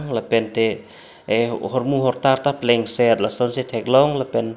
lapente eh hormu hortar ta plengset lasonsi theklong lapen.